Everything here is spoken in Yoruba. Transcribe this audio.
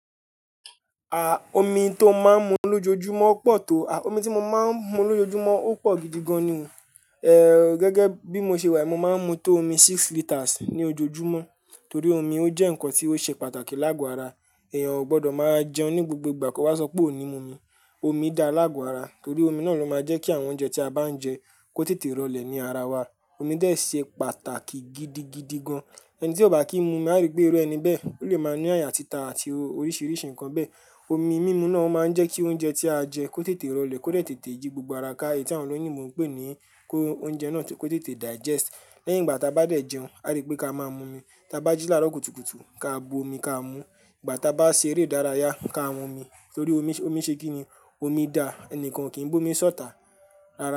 Ah, omi tó máa ń mu lójoojúmọ́ pọ̀ tó, ah omi tí mo máa ń mu lójoojúmọ́ ó pọ̀ gidigan ni. Eh gẹ́gẹ́ bí mo ṣe wà, mo máa ń mu tó omi six litres ní ojoojúmọ́. Torí omi ó jẹ́ nǹkan tí ó ṣe pàtàkì láàgò ara. Ẹ̀yàn ò gbọdọ̀ máa jẹun ní gbogbo ìgbà ko wá sọ pé ò ní mu omi. Omi da láàgò ara torí omi náà ló máa jẹ́ kí àwọn oúnjẹ tí a bá ń jẹ kó tètè rọ̀lẹ́ ní ara wa. Omi dè ṣe pàtàkì gidigidi gan. Ẹni tí ó bá kì í mu a rí pé irú ẹni bẹ́ẹ̀. Ó lè máa ní àyà títa àti oríṣiríṣi nǹkan bẹ́ẹ̀. Omi mímu náà máa ń jẹ́ kí oúnjẹ tí a jẹ kó tètè rọ̀lẹ́, kó lè tètè yí gbogbo ara ká, èyí tí àwọn olóyún mọ̀ ń pè ní kó oúnjẹ náà kó tètè digest. Lẹ́yìn ìgbà tí a bá dẹ̀ jẹun, a rí pé ká máa mú omi. Tí a bá jí lára òkutuùtù, ká bo omi ká mú. Ìgbà tí a bá ṣe eré ìdárayá, ká mu omi torí omi, omi ṣe kíni. Omi da, ẹnìkan kì í mú omi sọ́tà. Rárá.